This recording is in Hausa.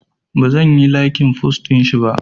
Bazan yi laikin post ɗinshi ba